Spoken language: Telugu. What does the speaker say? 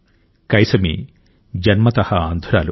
కైసమీ జన్మతః అంధురాలు